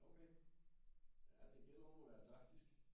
Okay ja det gælder om at være taktisk